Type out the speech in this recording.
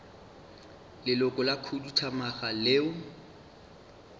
leloko la khuduthamaga leo le